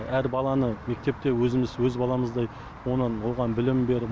әр баланы мектепте өзіміз өз баламыздай оған білім беріп